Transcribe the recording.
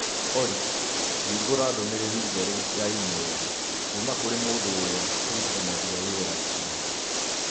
Olly hingũra ndũmĩrĩri njerũ ya i-mīrū kuuma kũrĩ mũndũ ũrĩa tũrutithanagia wĩra nake